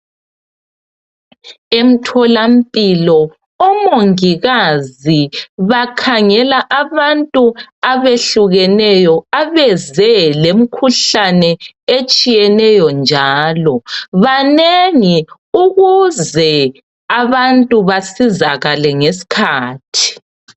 Emtholampilo omongikazi bakhangela abantu abehlukeneyo abeze lemkhuhlane etshiyeneyo njalo .Banengi ukuze abantu basizakale ngeskhathi .